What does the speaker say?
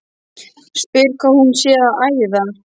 Spyr hvað hún sé að æða.